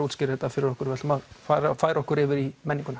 útskýra þetta fyrir okkur við ætlum að færa okkur yfir í menninguna